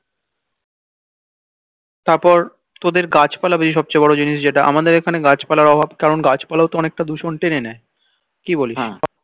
তারপর তোদের গাছপালাও বেশি সব চেয়ে বড় জিনিস যেটা আমাদের এখানে গাছপালার অভাব তেমন গাছপালাও তো অনেকটা দূষণ টেনে নেই কি বলিস